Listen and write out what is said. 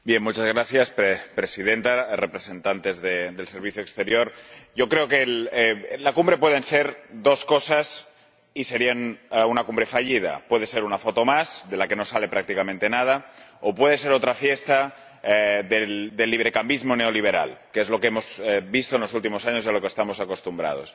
Señora Presidenta, señores representantes del Servicio Exterior, creo que la Cumbre pueden ser dos cosas, y sería una cumbre fallida puede ser una foto más, de la que no sale prácticamente nada, o puede ser otra fiesta del librecambismo neoliberal, que es lo que hemos visto en los últimos años y a lo que estamos acostumbrados.